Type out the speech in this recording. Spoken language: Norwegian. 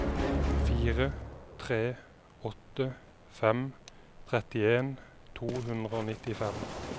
fire tre åtte fem trettien to hundre og nittifem